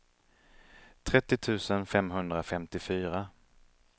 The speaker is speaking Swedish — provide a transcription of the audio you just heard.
trettio tusen femhundrafemtiofyra